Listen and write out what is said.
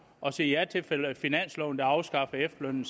og siger ja til finansloven der samtidig afskaffer efterlønnen